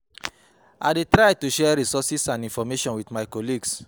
I dey try to share resources and information with my colleagues.